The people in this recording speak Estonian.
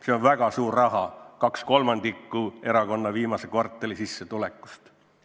See on väga suur summa: 2/3 erakonna sissetulekust viimasel kvartalil.